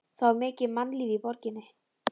Það var mikið mannlíf í borginni.